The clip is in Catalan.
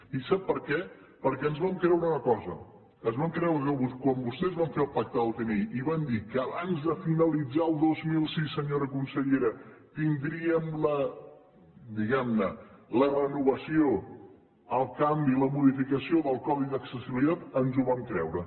i sap per què perquè ens vam creure una cosa ens vam creure que quan vostès van fer el pacte del tinell i van dir que abans de finalitzar el dos mil sis senyora consellera tindríem la diguem ne renovació el canvi la modificació del codi d’accessibilitat ens ho vam creure